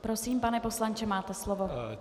Prosím, pane poslanče, máte slovo.